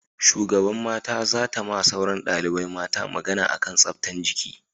Shugaban mata za ta ma sauran dalibai mata magana a kan tsaftan jiki